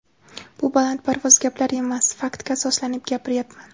Bu balandparvoz gaplar emas, faktga asoslanib gapiryapman.